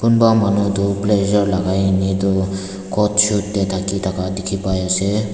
kunba manu tu blazer lakai ne tu coat suit dae taki taka tiki bai ase.